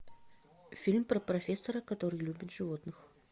фильм про профессора который любит животных